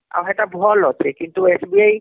ଆଉ ହେଟା ଭଲ ଅଛେ କିନ୍ତୁ SBI